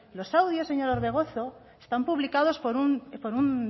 los audios señor orbegozo están publicados por un